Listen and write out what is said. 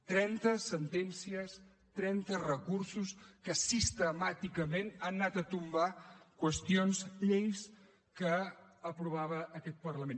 trenta sentències trenta recursos que sistemàticament han anat a tombar qüestions lleis que aprovava aquest parlament